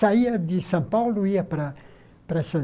Saía de São Paulo, ia para para essas